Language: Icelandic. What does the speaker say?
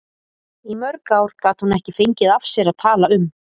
Í mörg ár gat hún ekki fengið af sér að tala um